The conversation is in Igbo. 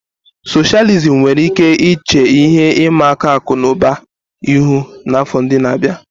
Socialism nwere ike iche ihe ịma aka akụ na ụba ihu n'afọ ndị na-abịa.